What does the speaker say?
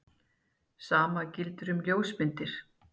Sama gildir um ljósmyndir.